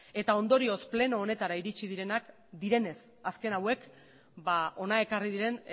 eta ondorioz pleno honetara iritsi direnez azken hauek ba hona ekarri diren